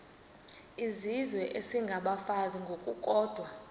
izizwe isengabafazi ngokukodwa